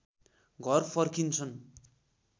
घर फर्किन्छन्